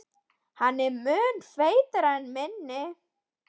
Hann var mun feitari en mig minnti.